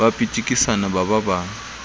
ba pitikisana ba ba ba